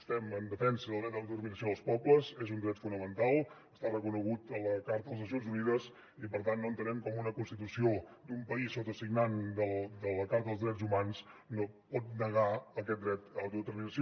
estem en defensa del dret a l’autodeterminació dels pobles és un dret fonamental està reconegut a la carta de les nacions unides i per tant no entenem com una constitució d’un país sotasignant de la carta dels drets humans pot negar aquest dret a l’autodeterminació